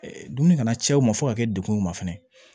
Dumuni kana cɛw ma fo ka kɛ dekun ma fɛnɛ